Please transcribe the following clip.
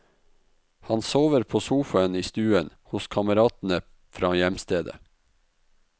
Han sover på sofaen i stuen hos kameratene fra hjemstedet.